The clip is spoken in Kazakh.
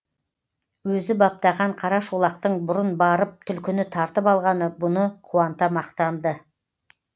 өзі баптаған қара шолақтың бұрын барып түлкіні тартып алғаны бұны қуанта мақтанды